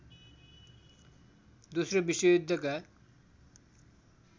दोश्रो विश्व युद्धका